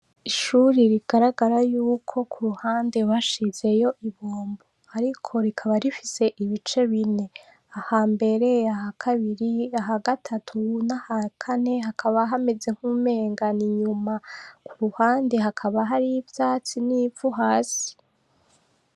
Ishuri rigaragara ko kuruhande bashizeyo ibombo. Ariko rikaba rifise ibice bine. Aha mbere aha kabiri, aha gatatu n'aha kane hakaba hameze nk'umenga n'inyuma. Ku ruhande hakaba hariyo ivyatsi n'ivu hasi.